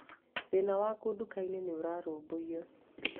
Thĩna waku nduka-inĩ nĩ ũrarũmbũiyo.